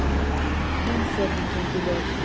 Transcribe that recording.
Umferðin gengur vel